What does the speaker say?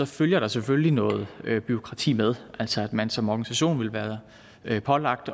følger der selvfølgelig noget bureaukrati med altså at man som organisation vil blive pålagt